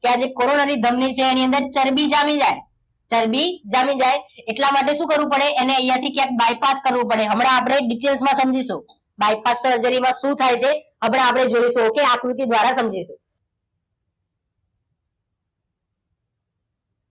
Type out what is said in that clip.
કે આજે કોરોનરી ધમની છે એની અંદર ચરબી જામી જાય ચરબી જામી જાય એટલા માટે શું કરવું પડે એને અહીંયા થી ક્યાંક bypass કરવું પડે હમણાં આપણે એક details માં સમજીશું bypass surgery માં શું થાય છે આપણે જોઈ લઈશું okay આકૃતિ દ્વારા સમજીશું